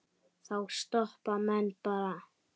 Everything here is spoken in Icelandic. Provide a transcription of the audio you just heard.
Þá stoppa menn bara.